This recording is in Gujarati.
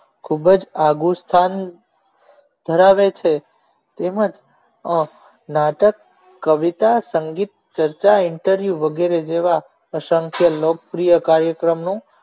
ખૂબ જ આગું સ્થાન ધરાવે છે તેમજ off નાટક કવિતા સંગીત ચર્ચા interview વગેરે જેવા અસંખ્ય લોકપ્રિય કાર્યક્રમનું